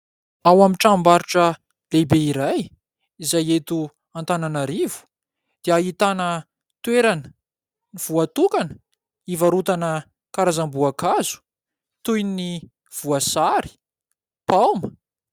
Ao amin'ny tranom-barotra lehibe iray izay eto Antananarivo dia ahitana toerana voatokana hivarotana karazam-boankazo toy ny voasary, paoma.